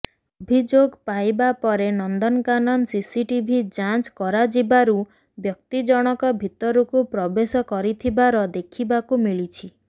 ଅଭିଯୋଗ ପାଇବା ପରେ ନନ୍ଦନକାନନ ସିସିଟିଭି ଯାଞ୍ଚ କରାଯିବାରୁ ବ୍ୟକ୍ତି ଜଣକ ଭିତରକୁ ପ୍ରବେଶ କରିଥିବାର ଦେଖିବାକୁ ମିଳିଛି